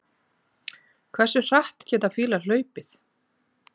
Hversu hratt geta fílar hlaupið?